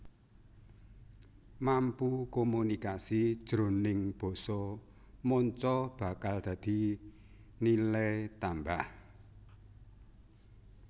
Mampu komunikasi jroning basa manca bakal dadi nilai tambah